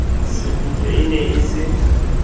sekgutlo e ne e se